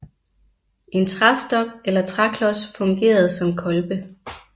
En træstok eller træklods fungerede som kolbe